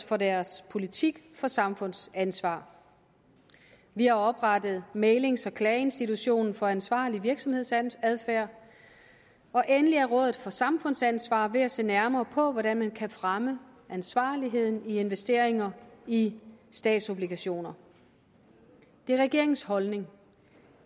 for deres politik for samfundsansvar vi har oprettet mæglings og klageinstitutionen for ansvarlig virksomhedsadfærd og endelig er rådet for samfundsansvar ved at se nærmere på hvordan man kan fremme ansvarligheden i investeringer i statsobligationer det er regeringens holdning